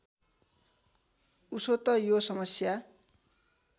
उसो त यो समस्या